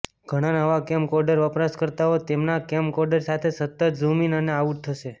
ઘણા નવા કેમકોર્ડર વપરાશકર્તાઓ તેમના કેમકોર્ડર સાથે સતત ઝૂમ ઇન અને આઉટ થશે